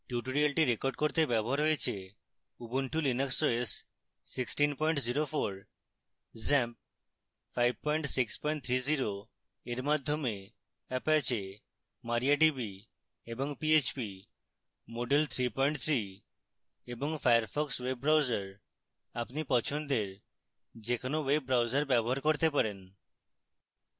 tutorial record করতে ব্যবহৃত হয়েছে: